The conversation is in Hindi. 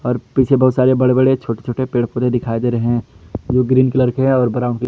पीछे बहुत सारे बड़े बड़े छोटे छोटे पेड़ पौधे दिखाई दे रहे जो ग्रीन कलर के हैं और ब्राउन --